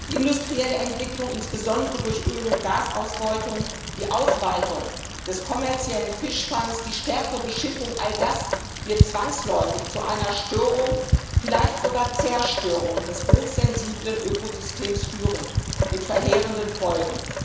Die industrielle Entwicklung, insbesondere durch Öl und Gasausbeutung, die Ausweitung des kommerziellen Fischfangs, die stärkere Beschiffung all das wird zwangsläufig zu einer Störung, vielleicht sogar Zerstörung des hochsensiblen Ökosystems führen mit verheerenden Folgen.